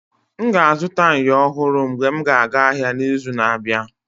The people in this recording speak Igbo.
M ga-azụta myo ọhụrụ mgbe m ga aga ahịa n'izu na-abịa.